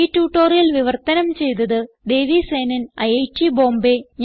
ഈ ട്യൂട്ടോറിയൽ വിവർത്തനം ചെയ്തത് ദേവി സേനൻ ഐറ്റ് ബോംബേ